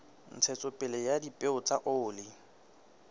ntshetsopele ya dipeo tsa oli